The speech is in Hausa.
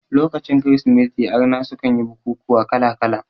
Lokacin kirismeti arna sukan yi bukukuwa kala kala